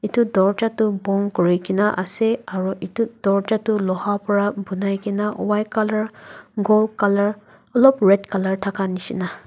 etu dorwaza tu bon kori kina ase aru etu dorwaza tu loha para bonai kina white colour gold colour olop red colour thaka nishina.